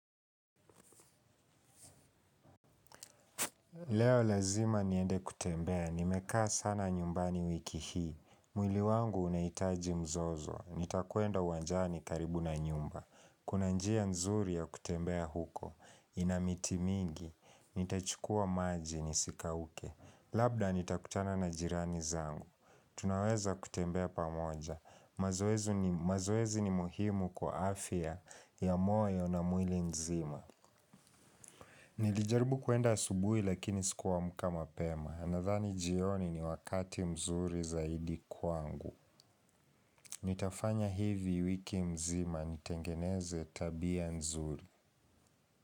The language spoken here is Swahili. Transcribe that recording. Leo lazima niende kutembea, nimekaa sana nyumbani wiki hii, mwili wangu unaitaji mzozo, nitakwenda uanjani karibu na nyumba, kuna njia nzuri ya kutembea huko, inamiti mingi, nitachukua maji nisikauke, labda nitakutana na jirani zangu, tunaweza kutembea pamoja, mazoezi ni muhimu kwa afya ya moyo na mwili nzima. Nilijaribu kuenda asubuhi lakini siku amka mapema, nadhani jioni ni wakati mzuri zaidi kwangu. Nitafanya hivi wiki nzima nitengeneze tabia nzuri.